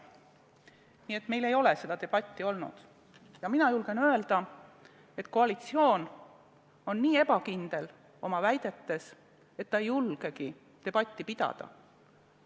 Nii et meil ei ole seda debatti olnud ja mina julgen öelda, et koalitsioon on nii ebakindel oma väidetes, et ta ei julgegi debatti pidada.